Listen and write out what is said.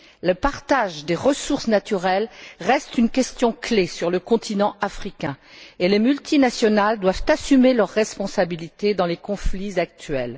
Le partage des ressources naturelles reste une question clé sur le continent africain, et les multinationales doivent assumer leurs responsabilités dans les conflits actuels.